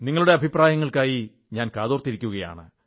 നിങ്ങളുടെ അഭിപ്രായങ്ങൾക്കായി ഞാൻ കാക്കും